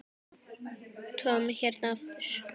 Tom hérna aftur.